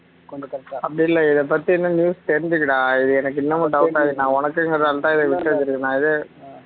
அப்படி இல்ல இத பத்தி இன்னும் news தெரிஞ்சிக்கடா இது எனக்கு இன்னமும் doubt ஆ இருக்கு நான் உனக்கு என்கிறதுனாலதான் இத சொல்றேன்